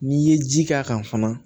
N'i ye ji k'a kan fana